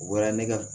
U bɔra ne ka